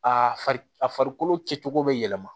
Aa a farikolo kɛcogo bɛ yɛlɛma